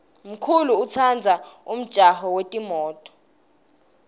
mkulu utsandza umjaho yetimto